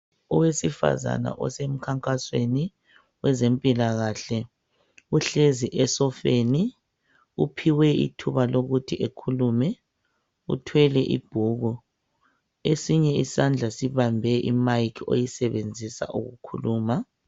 Owesifazana osemkhankasweni kwezempilakahle uhlezi esofeni uphiwe ithuba lokuthi ekhulume uthwele ibhuku esinye isandla sibambe imayikhi ayisebenzisa ukukhuluma.